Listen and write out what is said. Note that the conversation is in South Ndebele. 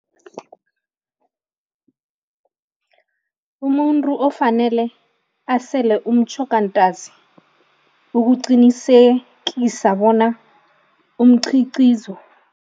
Umuntu ofanele asele umtjhoga ntazi ukuqinisekisa bona umchicizo.